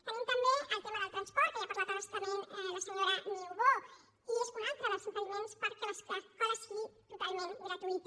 tenim també el tema del transport que ja n’ha parlat a bastament la senyora niubó i és un altre dels impediments perquè l’escola sigui totalment gratuïta